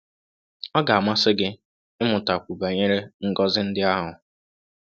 Ọ ga-amasị gị ịmụtakwu banyere ngọzi ndị ahụ?